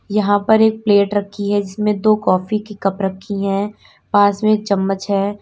यहां पर एक प्लेट रखी है जिसमें दो काफी की कप रखी है पास में चम्मच है।